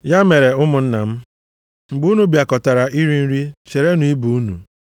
Ya mere, ụmụnna m, mgbe unu bịakọtara iri nri, cherenụ ibe unu.